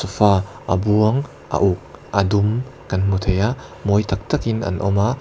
fa a buang a uk a dum kan hmu thei a mawi tak tak in an awm a.